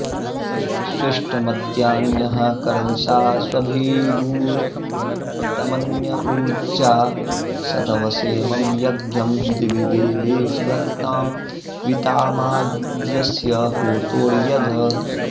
स्वि॑ष्टम॒द्यान्यः क॑रदि॒षा स्व॑भिगूर्तम॒न्य ऊ॒र्जा सत॑वसे॒मं य॒ज्ञं दि॒वि दे॒वेषु॑ धत्तां वी॒तामाज्य॑स्य॒ होत॒र्यज॑